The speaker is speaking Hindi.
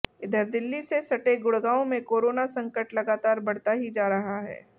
इधर दिल्ली से सटे गुड़गांव में कोरोना संकट लगातार बढ़ता ही जा रहा है